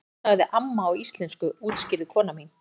Hún sagði amma á íslensku útskýrði kona mín.